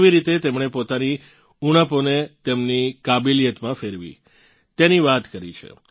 કેવી રીતે તેમણે પોતાની ઊણપોને તેમની કાબેલિયતમાં ફેરવી તેની વાત કરી છે